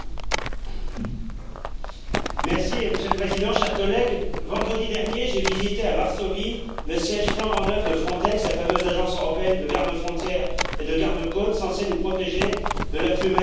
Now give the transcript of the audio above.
Monsieur le Président, chers collègues, vendredi dernier, j'ai visité à Varsovie le siège flambant neuf de Frontex, la fameuse agence européenne de gardes frontières et de garde côtes, censée nous protéger de l'afflux massif et incontrôlé d'immigrés illégaux.